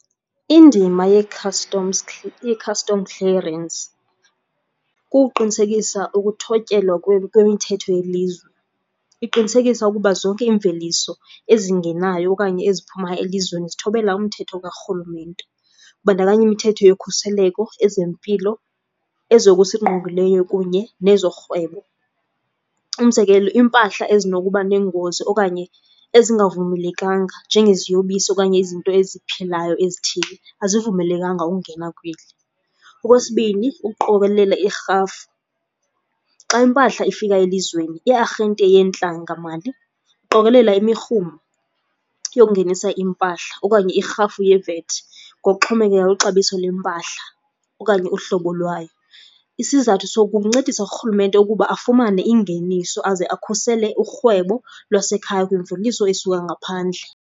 Indima ye-customs , i-custom clearance kukuqinisekisa ukuthotyelwa kwemithetho yelizwe. Iqinisekisa ukuba zonke iimveliso ezingenayo okanye eziphumayo elizweni zithobela umthetho karhulumente. Kubandakanya imithetho yokhuseleko, ezempilo, ezokusingqongileyo kunye nezorhwebo. Umzekelo, iimpahla ezinokuba nengozi okanye ezingavumelekanga njengeziyobisi okanye izinto eziphilayo ezithile azivumelekanga ungena kweli. Okwesibini, ukuqokelela irhafu. Xa iimpahla ifika elizweni iiarhente yentlangamali iqokolela imirhumo yokungenisa iimpahla okanye irhafu yeVAT ngokuxhomekeka kwixabiso lempahla okanye uhlobo lwayo. Isizathu soku kukuncedisa urhulumente ukuba afumane ingeniso aze akhusele urhwebo lwasekhaya kwimveliso esuka ngaphandle.